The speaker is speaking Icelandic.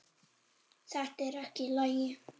Þetta er ekki í lagi!